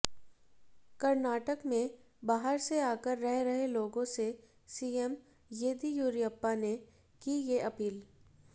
कर्नाटक में बाहर से आकर रह रहे लोगों से सीएम येदियुरप्पा ने की ये अपील